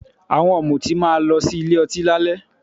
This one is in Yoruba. Àwọn ọ̀mùtí máa lọ sí ilé ọtí lálẹ́